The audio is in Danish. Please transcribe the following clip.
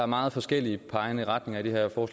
meget forskellige retninger og